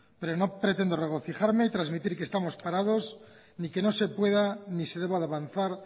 pero no pretendo regocijarme y transmitir que estamos parados ni que no se pueda ni se deba de avanzar